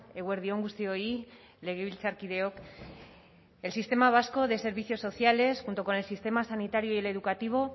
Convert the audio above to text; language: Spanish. eguerdi on guztioi legebiltzarkideok el sistema vasco de servicios sociales junto con el sistema sanitario y el educativo